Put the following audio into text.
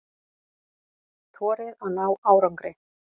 Þorið að ná árangri.